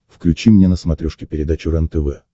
включи мне на смотрешке передачу рентв